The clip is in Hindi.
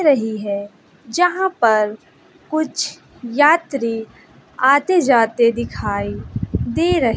रही है जहां पर कुछ यात्री आते जाते दिखाई दे रहे--